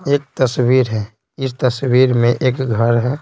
एक तस्वीर है इस तस्वीर में एक घर है।